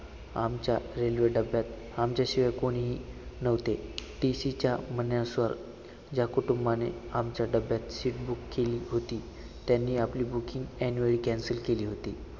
आमच्या railway डब्यात आमच्याशिवाय कोणीही नव्हते. TC च्या म्हणण्यानुसार ज्या कुटुंबाने आमच्या डब्यात seat book केली होती, त्यांनी आपली booking ऐंनवेळी cancel केली होती.